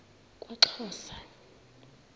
kwaxhosa